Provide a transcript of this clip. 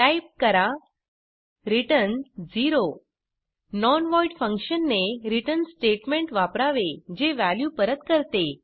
type करा return 0 non void function ने return statement वापरावे जे वॅल्यू परत करते